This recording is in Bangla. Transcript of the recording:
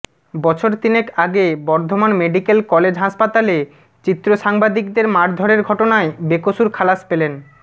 বছর তিনেক আগে বর্ধমান মেডিক্যাল কলেজ হাসপাতালে চিত্র সাংবাদিকদের মারধরের ঘটনায় বেকসুর খালাস পেলেন